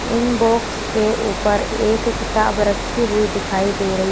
इन box के ऊपर एक किताब रखी हुई दिखाई दे रही--